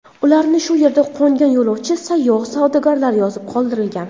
Ularni shu yerda qo‘ngan yo‘lovchi, sayyoh, savdogarlar yozib qoldirgan.